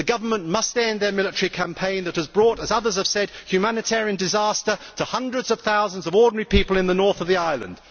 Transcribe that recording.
The Government must end its military campaign that has brought as others have said humanitarian disaster to hundreds of thousands of ordinary people in the north of the island.